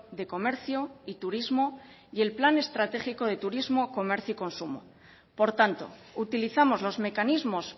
de comercio y turismo y el plan estratégico de turismo comercio y consumo por tanto utilizamos los mecanismos